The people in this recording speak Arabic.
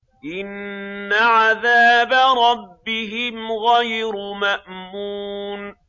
إِنَّ عَذَابَ رَبِّهِمْ غَيْرُ مَأْمُونٍ